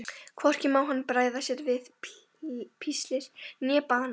Hvorki má hann bregða sér við píslir né bana.